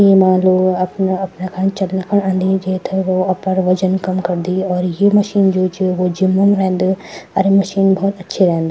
येमा लोग अपना अपना चलं खुण अंदी जैथे वो अपर वजन कम करदी और ये मशीन जू च वु जिम म रेंद अर मशीन भौत अच्छी रेंद।